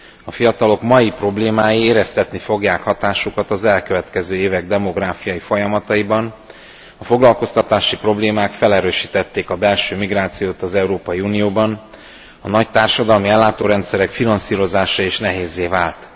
A fiatalok mai problémái éreztetni fogják hatásukat az elkövetkező évek demográfiai folyamataiban, a foglalkoztatási problémák felerősítették a belső migrációt az Európai Unióban, a nagy társadalmi ellátórendszerek finanszírozása is nehézzé vált.